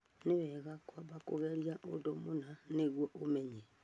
Nĩ wega kwamba kũgeria ũndũ mũna nĩguo ũmenye